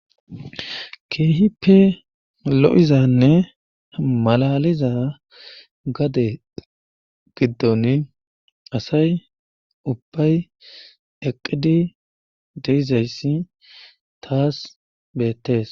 Keehippe lo7izanne malaaliza gade giddoni asay ubbay eqqidi de7izayssi taas beettees.